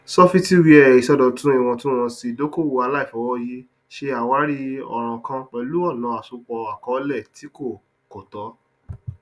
sọfítíwẹà ìṣòdọtún ìwọntúnwọnsì ìdókòowó àlàìfọwọyì ṣe àwárí ọràn kan pẹlú ọnà asopọ àkọọlẹ tí kò kò tọ